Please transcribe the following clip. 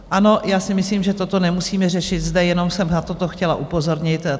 Ano, já si myslím, že toto nemusíme řešit zde, jenom jsem na to chtěla upozornit.